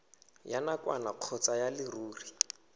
ya nakwana kgotsa ya leruri